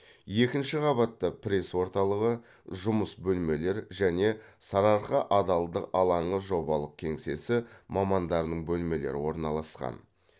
екінші қабатта пресс орталығы жұмыс бөлмелер және сарыарқа адалдық алаңы жобалық кеңсесі мамандарының бөлмелері орналасқан